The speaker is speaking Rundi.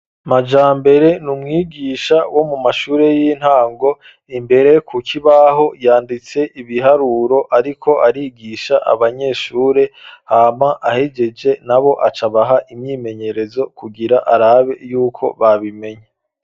Majambere ni umwigisha wo mu mashure y'intango imbere ku kibaho yanditse ibiharuro ariko arigisha abanyeshure hama ahejeje nabo acabaha imyimenyerezo kugira arabe yuko babimenye.